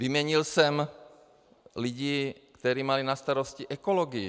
Vyměnil jsem lidi, kteří mají na starosti ekologii.